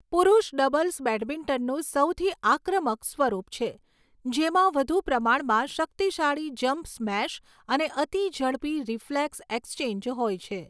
પુરૂષ ડબલ્સ બેડમિન્ટનનું સૌથી આક્રમક સ્વરૂપ છે, જેમાં વધુ પ્રમાણમાં શક્તિશાળી જમ્પ સ્મેશ અને અતિ ઝડપી રિફ્લેક્સ એક્સચેન્જ હોય છે.